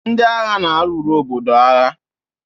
Ndị agha na-alụrụ obodo agha.